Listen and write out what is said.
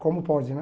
Como pode, né?